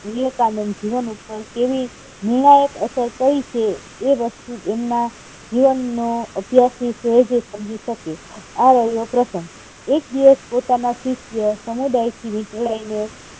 વિવેકાનંદ નું જીવન પર કેવી નિર્ણાયક અસર કરી છે એ વસ્તુ એમના જીવન નો અભ્યાસ ની શોધ શકે આ પહેલો પ્રસંગ. એક દિવસ પોતાના શિષ્ય સમુદાયથી વિછોડાઈને